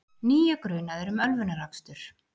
Níu grunaðir um ölvunarakstur